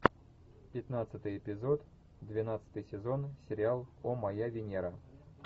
пятнадцатый эпизод двенадцатый сезон сериал о моя венера